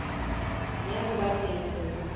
ya ho ba teng ho